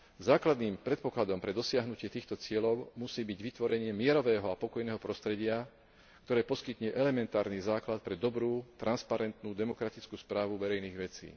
Základným predpokladom na dosiahnutie týchto cieľov musí byť vytvorenie mierového a pokojného prostredia, ktoré poskytne elementárny základ pre dobrú transparentnú demokratickú správu verejných vecí.